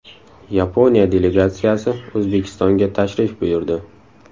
Yaponiya delegatsiyasi O‘zbekistonga tashrif buyurdi.